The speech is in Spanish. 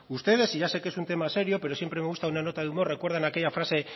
ustedes y ya sé que es un tema serio pero siempre me gusta una nota de humor recuerdan aquella frase